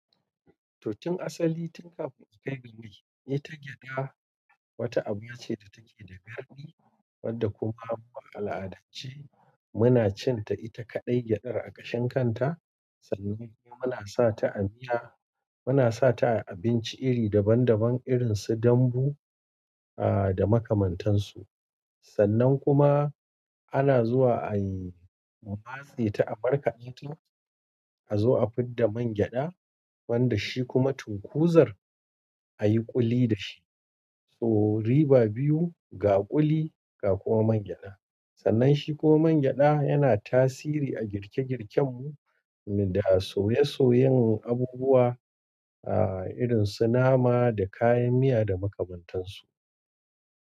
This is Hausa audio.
Totin asali tun kafin kai birni ne ta gyada. Wata abu ce da take da garɗi, wadda kuma a al'adance muna cin ta ita kaɗai gyadar a ƙashen kanta. Sannan ne muna sa ta a miya, muna sa ta a abinci iri daban-daban irin su dambu, ah, da makamantansu. Sannan kuma ana zuwa ayi, a matse ta a markaɗe ta, a zo a fid da man gyada, wanda shi kuma tukunzar ayi kuli da shi. So riba biyu, ga kuli ga kuma man gyada. Sannan shi kuma man gyada yana tasiri a girke-girken mu Da soye soyen abubuwa, ah, irin su nama da kayan miya da sauran su.